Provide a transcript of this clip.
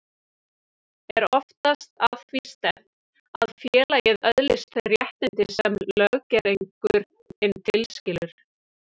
Er oftast að því stefnt að félagið öðlist þau réttindi sem löggerningurinn tilskilur.